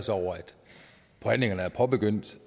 os over at forhandlingerne er påbegyndt